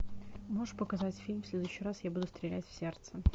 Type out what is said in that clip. можешь показать фильм в следующий раз я буду стрелять в сердце